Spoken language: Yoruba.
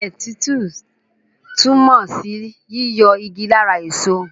Ilẹ̀ títú túmọ̀ sí yíyọ igi lára èso.